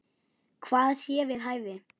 Hvað sé við hæfi.